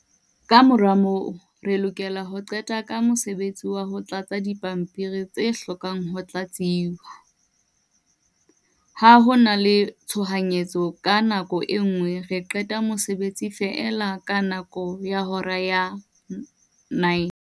Kamora moo, re lokela ho qeta ka mosebetsi wa ho tlatsa dipampiri tse hlokang ho tlatsuwa. Ha ho na le tshohanyetso ka nako e nngwe re qeta mosebetsi feela kamora hora ya nine.